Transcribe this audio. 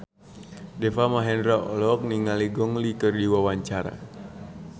Deva Mahendra olohok ningali Gong Li keur diwawancara